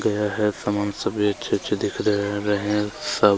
गया है समान सभी अच्छे अच्छे दिख रहे है रहे सब --